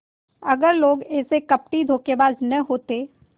अगर लोग ऐसे कपटीधोखेबाज न होते